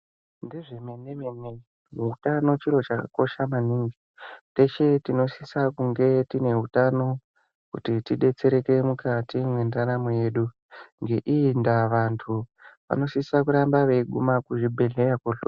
Ngezvemene-mene, muutano chiro chakakosha maningi. Teshe tinosise kunge tiine utano kuti tidetsereke mukati mwendaramo yedu, ngeiyi ndaa vantu vanosisa kuramba veiguma kuzvibhedhlera.